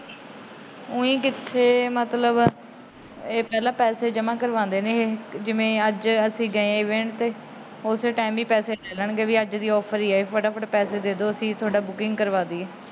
ਹੋਵੇ ਓਇ ਕਿਥੇ? ਮਤਲਬ ਇਹ ਪਹਿਲਾ ਪੈਸੇ ਜਮਾ ਕਰਵਾਉਂਦੇ ਨੇ ਇਹ। ਜਿਵੇ ਅੱਜ ਅਸੀਂ ਗਏ ਉਸੇ ਟੈਮ ਹੀ ਪੈਸੇ ਲੈ ਲੈਣਗੇ ਵੀ ਅੱਜ ਦੀ ਈ ਆਫਰ ਏ। ਫਟਾਫਟ ਪੈਸੇ ਦੇਦੋ ਅਸੀਂ ਤੁਹਾਡੀ ਬੁਕਿੰਗ ਕਰਵਾ ਦਾਈਏ।